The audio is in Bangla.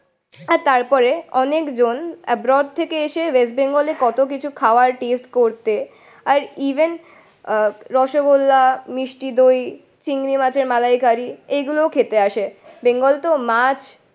আর তারপরে অনেকজন এব্রোড থেকে এসে ওয়েস্ট বেঙ্গলে কতকিছু খাবার টেস্ট করতে আর ইভেন আহ রসগোল্লা, মিষ্টি দই, চিংড়ি মাছের মালাইকারি এইগুলোও খেতে আসে। বেঙ্গল তো মাছ